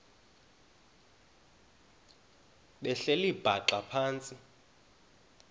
behleli bhaxa phantsi